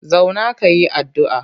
Zauna ka yi addu'a!